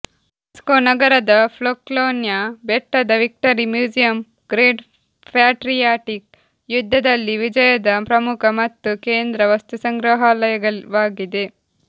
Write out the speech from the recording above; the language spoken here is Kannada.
ಮಾಸ್ಕೋ ನಗರದ ಪೊಕ್ಲೊನ್ಯಾ ಬೆಟ್ಟದ ವಿಕ್ಟರಿ ಮ್ಯೂಸಿಯಂ ಗ್ರೇಟ್ ಪ್ಯಾಟ್ರಿಯಾಟಿಕ್ ಯುದ್ಧದಲ್ಲಿ ವಿಜಯದ ಪ್ರಮುಖ ಮತ್ತು ಕೇಂದ್ರ ವಸ್ತುಸಂಗ್ರಹಾಲಯವಾಗಿದೆ